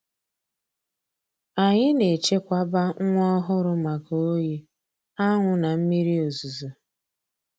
Anyị na-echekwaba nwa ohụrụ maka oyi, anwụ na mmiri ozuzo